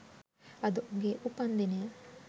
අද උගේ උපන්දිනය